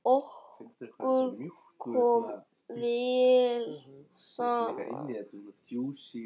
Okkur kom vel saman.